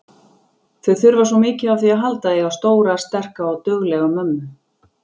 Þau þurfa svo mikið á því að halda að eiga stóra, sterka og duglega mömmu.